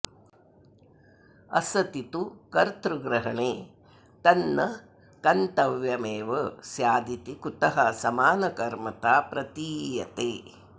असति तु कर्त्तृग्रहणे तन्न कत्र्तव्यमेव स्यादिति कुतः समानकर्मता प्रतीयते